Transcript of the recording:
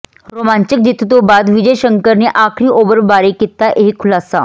ਰੋਮਾਂਚਕ ਜਿੱਤ ਤੋਂ ਬਾਅਦ ਵਿਜੇ ਸ਼ੰਕਰ ਨੇ ਆਖਰੀ ਓਵਰ ਬਾਰੇ ਕੀਤਾ ਇਹ ਖੁਲਾਸਾ